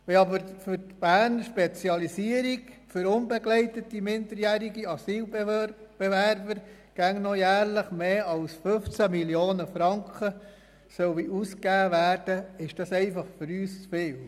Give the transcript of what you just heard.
Wenn aber nach dem Konzept «Spezialisierung» für UMA jährlich immer noch mehr als 15 Mio. Franken ausgegeben werden sollen, ist das für uns einfach zu viel.